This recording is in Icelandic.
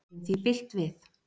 Gerum því bylt við.